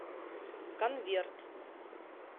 конверт